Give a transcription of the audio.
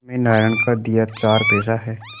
घर में नारायण का दिया चार पैसा है